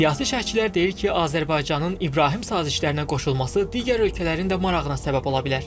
Siyasi şərhçilər deyir ki, Azərbaycanın İbrahim sazişlərinə qoşulması digər ölkələrin də marağına səbəb ola bilər.